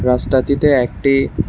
রাস্তাতিতে একটি--